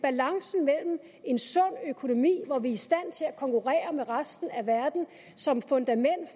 en sund økonomi hvor vi er i stand til at konkurrere med resten af verden som fundament